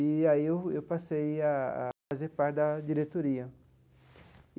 E aí eu eu passei a a fazer parte da diretoria.